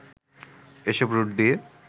এসব রুট দিয়ে